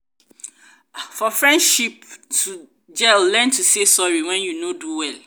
for the friendship to gel learn to say sorry when you no do well